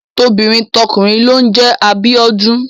Tobìnrin tọkùnrin ló ń jẹ Abíọ́dún.